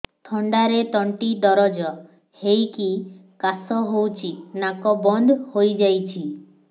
ଥଣ୍ଡାରେ ତଣ୍ଟି ଦରଜ ହେଇକି କାଶ ହଉଚି ନାକ ବନ୍ଦ ହୋଇଯାଉଛି